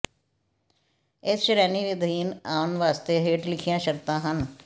ਇਸ ਸ਼੍ਰੇਣੀ ਅਧੀਨ ਆਉਣ ਵਾਸਤੇ ਹੇਠ ਲਿਖੀਆਂ ਸ਼ਰਤਾਂ ਹਨ